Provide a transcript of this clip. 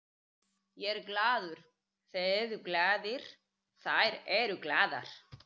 Ég er glaður, þeir eru glaðir, þær eru glaðar.